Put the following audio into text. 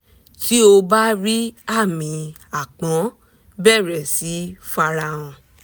tí ó bá rí àmi àápọn bẹ̀rẹ̀ sí í farahàn